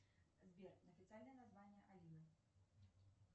сбер официальное название алина